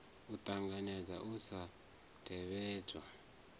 a ṱanganedza u sa tevhedzwa